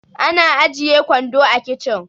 ana ajiye kwando a kicin